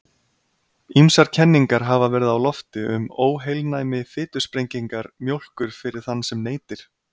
Ýmsar kenningar hafa verið á lofti um óheilnæmi fitusprengingar mjólkur fyrir þann sem neytir.